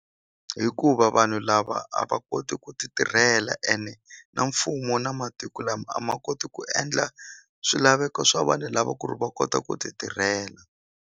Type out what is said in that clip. Hikuva vanhu lava a va koti ku ti tirhela ene na mfumo na matiko lama a ma koti ku endla swilaveko swa vanhu lava ku ri va kota ku ti tirhela.